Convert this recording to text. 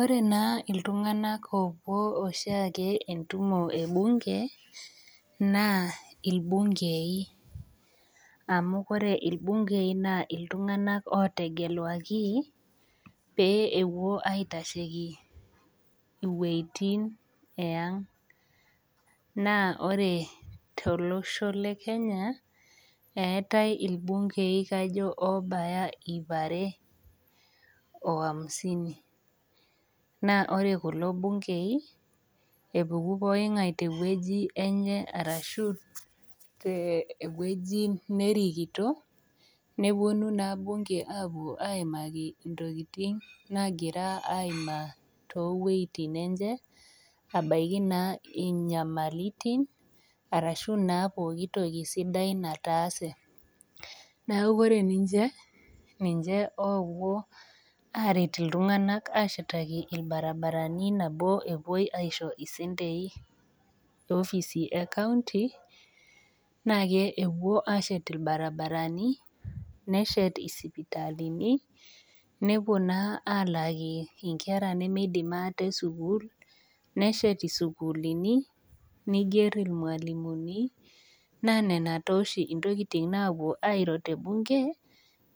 Ore naa iltunganak oopuo oshiake entumo ebunge naa ilbungei, amu kore ilbungei naa iltunganak otegeluaki pee epuo aiatasheki wuejitin esng',naa ore te losho le Kenya eatae ilbungei kajo oobaya iip are o hamsini, ore kulo bungei epuku poki ngae te wueji enye arashu te wueji nerikito, neponu naa bunge aaponu aapo aimaki intokitin naagira aimaa too wueitin enye abaki naa inyamalitin arashu naa pooki toki sidai nataase, naaku kore ninche, ninche oopuo aaret iltunganak ashetaki irbaribarani nabo eishooki ninche sentei te ofisi ekaunti, naa kepuo aashet irbaribarani neshet isipitalini, nepuo naa alaaki inkera nemeidim ate sukuul, neshet sukuulini, neiger olmwalimuni naa nena taa oshi ntokitin naapuo airo te bungei,